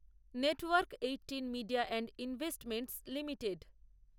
network eighteen media and investments limited